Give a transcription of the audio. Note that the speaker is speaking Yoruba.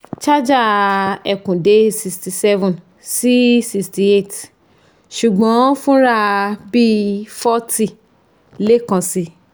charger ekun de sixty seven si sixty eight ṣùgbọ́n fúnrà bí i forty lé kan si